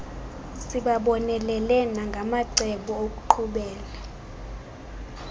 sibabonelele nangamacebo okuqhubela